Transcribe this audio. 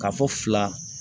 Ka fɔ fila